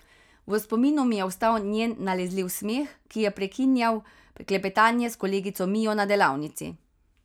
V spominu mi je ostal njen nalezljiv smeh, ki je prekinjal klepetanje s kolegico Mijo na delavnici.